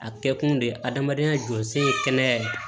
A kɛ kun de ye adamadenya jɔyɔrɔsen ye kɛnɛya ye